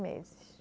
Meses